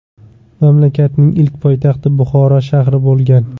Mamlakatning ilk poytaxti Buxoro shahri bo‘lgan.